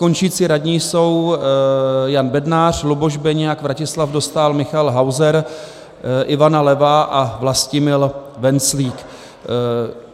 Končící radní jsou Jan Bednář, Luboš Beniak, Vratislav Dostál, Michael Hauser, Ivana Levá a Vlastimil Venclík.